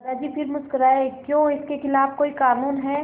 दादाजी फिर मुस्कराए क्यों इसके खिलाफ़ कोई कानून है